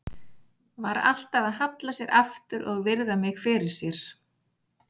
Var alltaf að halla sér aftur og virða mig fyrir sér.